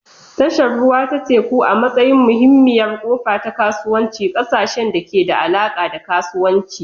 Tashar ruwa ta teku, a matsayin muhimmiyar ƙofa ta kasuwanci, ƙasashen da ke da alaƙa da kasuwanci.